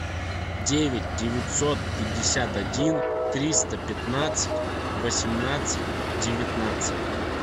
девять девятьсот пятьдесят один триста пятнадцать восемнадцать девятнадцать